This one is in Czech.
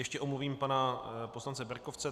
Ještě omluvím pana poslance Berkovce.